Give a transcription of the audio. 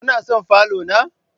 Kuna son falo na?